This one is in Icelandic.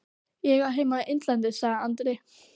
Ég á heima á Innlandi, sagði Andri.